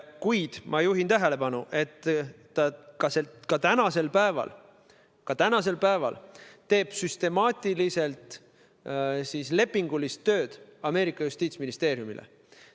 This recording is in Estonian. Kuid ma juhin tähelepanu sellele, et ka tänasel päeval teeb ta süstemaatiliselt Ameerika Ühendriikide justiitsministeeriumile lepingulist tööd.